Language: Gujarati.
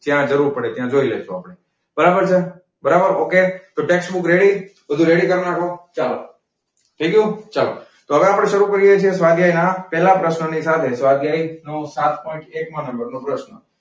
જ્યાં જરૂર પડે ત્યાં જોઈ લઈશું આપણે. બરાબર છે બરાબર okay? તો textbook ready? બધુ ready કર નાખો. થઈ ગયું ચલો, તો હવે આપડે સરુ કરીયે છીએ સ્વાધ્યેય ના પેહલા પ્રશનની સાથે સ્વાધ્યય નો સાત પોઇન્ટ એક માં નંબર નો પ્રશ્ન.